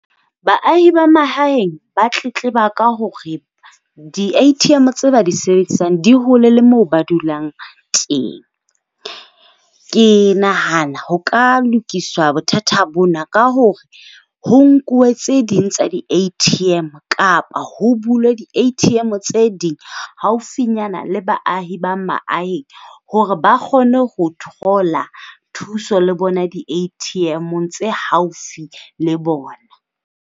Baahi ba mahaheng ba tletleba ka hore di-A_T_M tse ba di sebedisang di hole le moo ba dulang teng. Ke nahana ho ka lokiswa bothata bona, ka hore ho nkuwe tse ding tsa di-A_T_M kapa ho bulwe di-A_T_M tse ding haufinyana le baahi ba maaheng. Hore ba kgone ho thola thuso le bona di-A_T_M-ong tse haufi le bona.